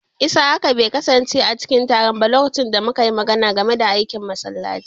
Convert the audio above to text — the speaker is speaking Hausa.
Isiyaka bai kasance a cikin taron ba lokacin da muka yi magana game da aikin masallaci.